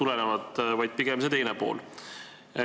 Pigem on mängus see teine pool.